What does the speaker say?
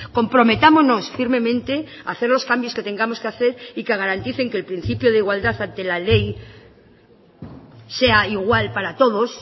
comprometámonos firmemente a hacer los cambios que tengamos que hacer y que garanticen que el principio de igualdad ante la ley sea igual para todos